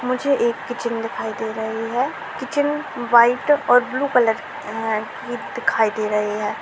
मुझे एक किचन दिखाई दे रही है किचन वाइट और ब्लू कलर की है| ये दिखाई दे रहे हैं।